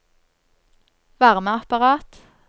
varmeapparat